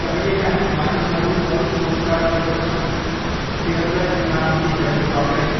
कहिलेकाहिँ मानिसहरू अरूको शरण खोज्छन्, उनीहरूलाई मुखामुखी हेर्नु पर्दैन।